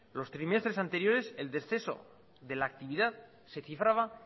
los trimestres anteriores el descenso de la actividad se cifraba